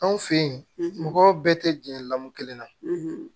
Anw fɛ yen mɔgɔw bɛɛ tɛ gɛn lamɔn kelen na